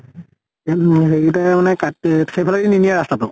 হেৰি তে মানে কাত তে সেইফালে দি নিনিয়ে ৰাস্তা টো।